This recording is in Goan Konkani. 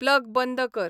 प्लग बंद कर